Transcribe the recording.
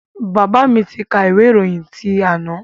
Bàbá mi tí kà ìwé ìròyìn ti àná.